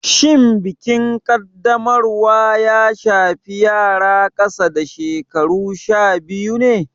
Shin bikin Kaddamarwa ya shafi yara ƙasa da shekaru sha biyu ne?